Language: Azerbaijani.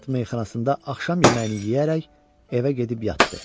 Tabard meyaxanasında axşam yeməyini yeyərək evə gedib yatdı.